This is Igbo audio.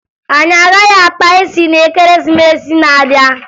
Anyị agaghị akpa isi na Ekeresimesi a n'abịa